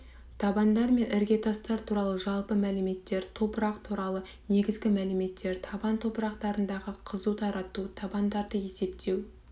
табандар мен іргетастар туралы жалпы мәліметтер топырақ туралы негізгі мәліметтер табан топырақтарындағы қызуды тарату табандарды есептеу